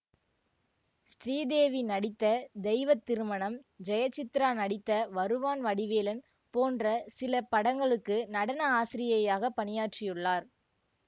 ஸ்ரீதேவி நடித்த தெய்வ திருமணம் ஜெயசித்ரா நடித்த வருவான் வடிவேலன் போன்ற சில படங்களுக்கு நடன ஆசிரியையாகப் பணியாற்றியுள்ளார்